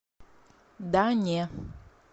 да не